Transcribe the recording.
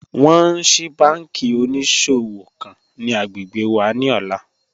Wọn ń ṣíí bànkí oníṣọ̀wọ̀ kan ni agbẹ́gbẹ́ wà ni ọ̀lá